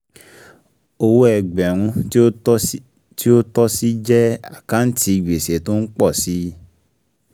Owó ẹgbẹ̀rún tí ó tọ́ sí jẹ àkáǹtì gbèsè tó ń pọ̀ si